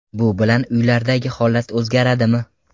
Bu bilan uylardagi holat o‘zgaradimi?